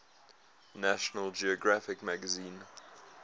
national geographic magazine